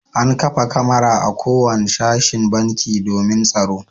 An kafa kamara a kowane sashen banki domin tsaro.